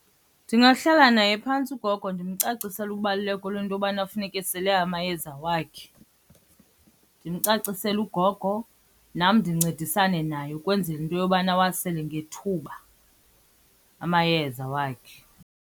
Ndingahlala naye phantsi ugogo ndimcacisele ubaluleko lento yobana funeke esele amayeza wakhe. Ndimcacisele ugogo, nam ndincedisane naye ukwenzela into yobana awasele ngethuba amayeza wakhe.